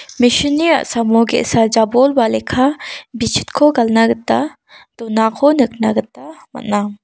mesin ni a·samo ge·sa jabol ba lekka bitchitko galna gita donako nikna gita man·a.